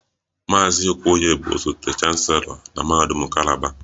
Maazị Okoye bụ osote chancelo na mahadum kalaba